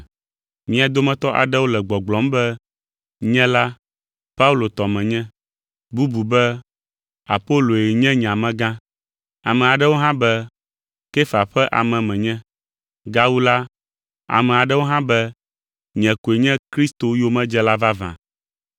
Mia dometɔ aɖewo le gbɔgblɔm be, “Nye la, Paulo tɔ menye”; bubu be, “Apoloe nye nye amegã”; ame aɖewo hã be, “Kefa ƒe ame menye”; Gawu la, ame aɖewo hã be, “Nye koe nye Kristo yomedzela vavã.”